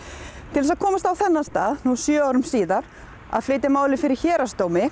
til þess að komast á þennan stað sjö árum síðar að flytja málið fyrir héraðsdómi